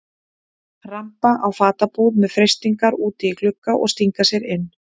Ramba á fatabúð með freistingar úti í glugga og stinga sér inn.